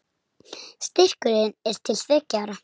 Styrkurinn er til þriggja ára